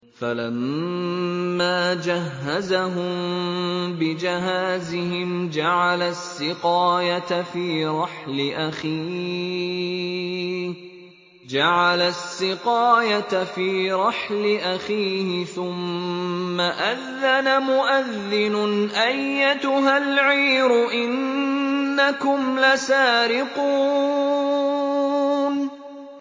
فَلَمَّا جَهَّزَهُم بِجَهَازِهِمْ جَعَلَ السِّقَايَةَ فِي رَحْلِ أَخِيهِ ثُمَّ أَذَّنَ مُؤَذِّنٌ أَيَّتُهَا الْعِيرُ إِنَّكُمْ لَسَارِقُونَ